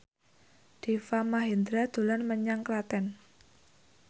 Deva Mahendra dolan menyang Klaten